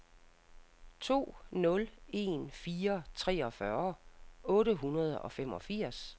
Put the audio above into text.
to nul en fire treogfyrre otte hundrede og femogfirs